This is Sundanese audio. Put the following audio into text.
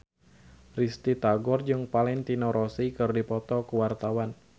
Risty Tagor jeung Valentino Rossi keur dipoto ku wartawan